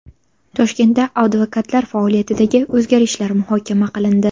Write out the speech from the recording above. Toshkentda advokatlar faoliyatidagi o‘zgarishlar muhokama qilindi.